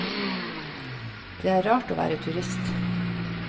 Det er rart å være turist.